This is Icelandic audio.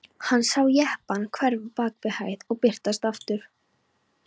Hann sá jeppann hverfa bak við hæð og birtast aftur.